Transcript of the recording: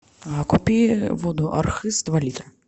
купи воду архыз два литра